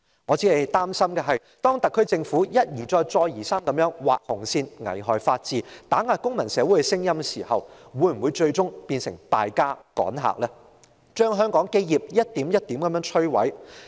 然而，我擔心當特區政府一而再、再而三地劃"紅線"，危害法治，打壓公民社會的聲音時，會否最終變成"敗家"、趕客，將香港的基業一點一滴地摧毀。